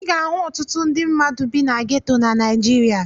Ị ga-ahụ ọtụtụ ndị mmadụ bi na geto na Naịjirịa.